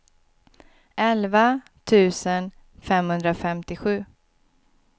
elva tusen femhundrafemtiosju